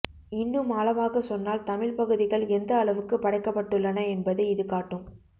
இன்னும் ஆழமாக சொன்னால் தமிழ் பகுதிகள் எந்த அளவுக்கு படைக்கப்பட்டுள்ளன என்பதை இது காட்டும்